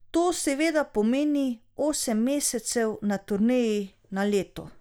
To seveda pomeni osem mesecev na turneji na leto.